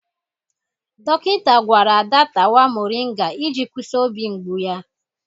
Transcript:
Dọkịta gwara Ada tawa moringa iji kwụsị obi mgbu ya.